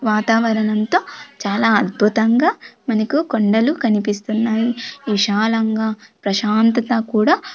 వాతావరణంతో చాలా అద్భుతంగా మనకు కొండలు కనిపిస్తున్నాయి విశాలంగా ప్రశాంతత కూడా.